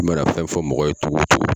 I mana fɛn fɔ mɔgɔ ye cogo o cogo